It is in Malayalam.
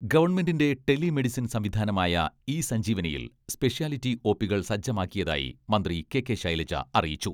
ഗവൺമെന്റിന്റെ ടെലി മെഡിസിൻ സംവിധാനമായ ഇ സഞ്ജീവനിയിൽ സ്പെഷ്യാലിറ്റി ഒ.പികൾ സജ്ജമാക്കിയതായി മന്ത്രി കെ കെ ശൈലജ അറിയിച്ചു.